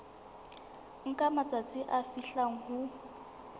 nka matsatsi a fihlang ho